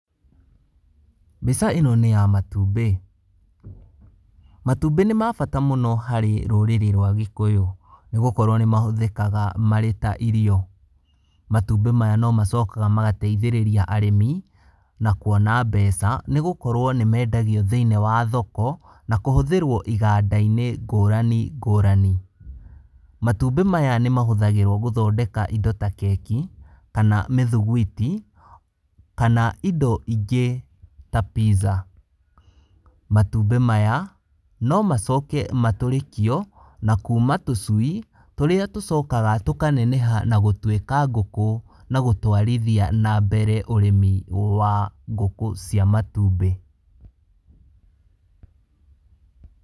Mbica ĩno nĩ ya matumbĩ, matumbĩ nĩ mabata mũno harĩ rũrĩrĩ rwa gĩkũyũ, nĩ gũkorwo nĩ mahũthĩkaga marĩ ta irio, matumbĩ maya no macokaga magateithĩrĩria arĩmi na kwona mbeca nĩ gũkorwo nĩ mendagio thĩinĩ wa thoko, na kũhũthĩrwo iganda-inĩ ngũrani ngũrani, matumbĩ nĩ mahũthagĩrwo gũthondeka indo ta keki, kana mĩthuguiti, kana indo ingĩ ta Pizza. Matumbĩ maya no macoke matũrĩkio na kuma tũcui tũrĩa tũcokaga tũkaneneha tũgatuĩka ngũkũ, na gũtwarithia na mbere ũrĩmi wa ngũkũ cia matumbĩ.